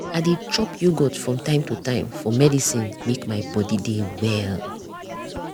i dey chop yoghurt from time to time for medicine make my body dey well.